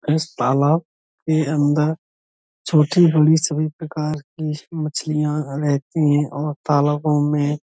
इस तालाब के अन्दर छोट-बड़ी सभी प्रकार की मछलियां रहती हैं और तालाबों में --